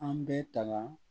An bɛ tala